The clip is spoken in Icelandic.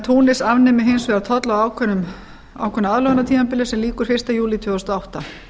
túnis afnemi hins vegar tolla á ákveðnu aðlögunartímabili sem lýkur fyrsta júlí tvö þúsund og átta